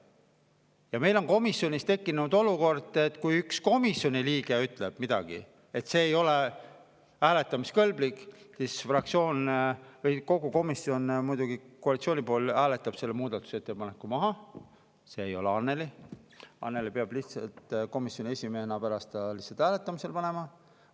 Ja meil on komisjonis tekkinud olukord, et kui üks komisjoni liige ütleb, et see ei ole hääletamiskõlblik, siis kogu komisjon, muidugi koalitsiooni pool, hääletab selle muudatusettepaneku maha – see ei ole Annely, Annely peab lihtsalt komisjoni esimehena pärast selle hääletamisele panema.